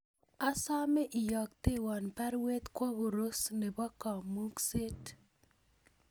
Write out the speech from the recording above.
Asame iyoktewan baruet kwo Koros nebo kamungset